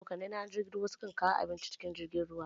Abokanai na, na jirgin ruwa su kan kawo abinci cikin jirgin ruwan.